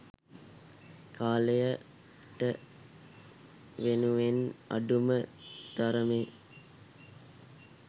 කාලයට වෙනුවෙන් අඩුම තරමේ